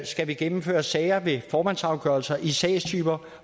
skal vi gennemføre sager med formandsafgørelser i sagstyper